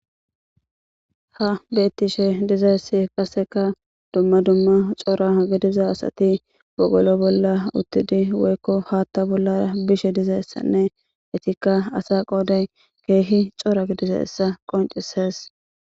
Ha bettishshe dizayssi qasekka dumma dumma corra gidiza assati wogollo bolla uttidi woykko hatta bolla bishe dizayissanne ettikka assa qodday ke'i corra gididdayssa qoncissees